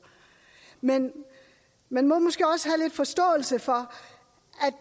men man må måske også have lidt forståelse for